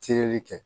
Tereli kɛ